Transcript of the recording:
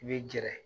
I bɛ gɛrɛ